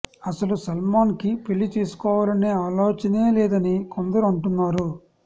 అసలు సల్మాన్ కి పెళ్లి చేసుకోవాలనే ఆలోచనే లేదని కొందరు అంటున్నారు